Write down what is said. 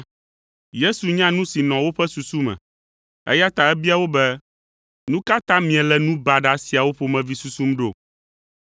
Yesu nya nu si nɔ woƒe susu me, eya ta ebia wo be, “Nu ka ta miele nu baɖa siawo ƒomevi susum ɖo?